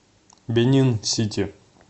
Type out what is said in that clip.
бенин сити